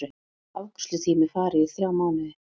Afgreiðslutími fari í þrjá mánuði